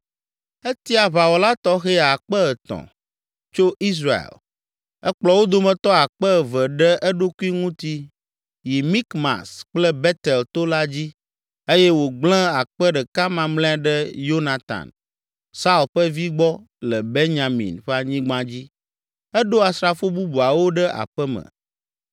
etia aʋawɔla tɔxɛ akpe etɔ̃ (3,000) tso Israel. Ekplɔ wo dometɔ akpe eve ɖe eɖokui ŋuti yi Mikmas kple Betel to la dzi eye wògblẽ akpe ɖeka mamlɛa ɖe Yonatan, Saul ƒe vi gbɔ le Benyamin ƒe anyigba dzi. Eɖo asrafo bubuawo ɖe aƒe me.